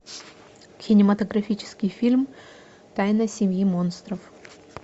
кинематографический фильм тайна семьи монстров